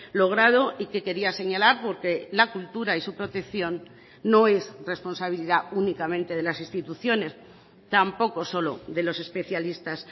logrado y que quería señalar porque la cultura y su protección no es responsabilidad únicamente de las instituciones tampoco solo de los especialistas